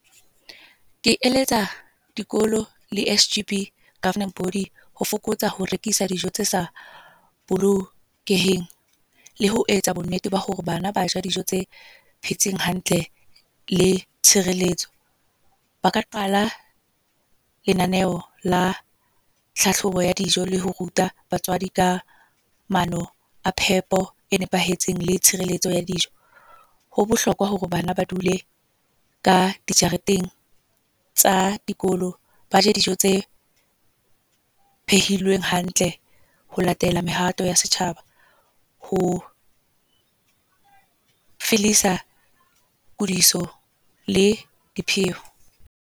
Ke eletsa dikolo le S_G_B governing body, ho fokotsa ho rekisa dijo tse sa bolokeheng. Le ho etsa bonnete ba hore bana ba ja dijo tse phetseng hantle, le tshireletso. Ba ka qala lenaneo la tlhahlobo ya dijo le ho ruta batswadi ka mano a phepo e nepahetseng, le tshireletso ya dijo. Ho bohlokwa hore bana ba dule ka dijareteng tsa dikolo. Ba je dijo tse phehilweng hantle ho latela mehato ya setjhaba, ho le .